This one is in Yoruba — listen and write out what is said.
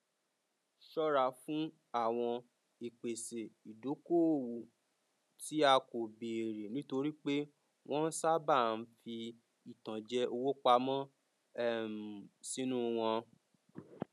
ṣọra fún àwọn ìpese ìdokoowó tí a kò béèrè nítorí pé wọn sábàa ń fi ìtànjẹ owó pamọ um sínú wọn